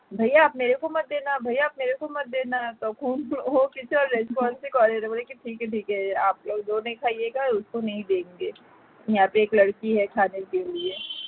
भैया आप मेरे को मत देना भैया आप मेरे को मत देना তখন ও কিছু আর response করে না বলে কি ठीक है ठीक है आप लोग जो नहीं खाएगा उसको नहीं देंगे यह पर एक लड़की है खाने के लिए